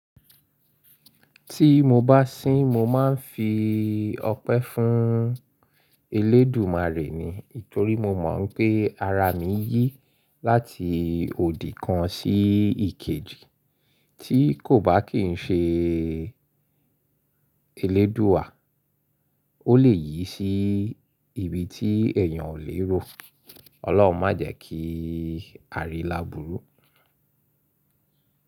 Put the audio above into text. Tí mo bá sín, mo máa ń fi ọpẹ́ fún eléèdúúmàre ni. Ítorí mo mọ̀ pé ara mi yí láti òdì kan sí ìkejì, tí kò bá kì ń ṣe eléèdúúà, ó lè yí sí ibi tí èèyàn ò lè rò. Ọlọ́run má jẹ kí a rí lábùrú.